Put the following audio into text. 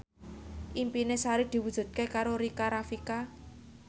impine Sari diwujudke karo Rika Rafika